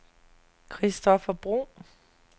Christoffer Bro